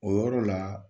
O yɔrɔ la